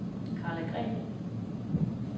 Karla Green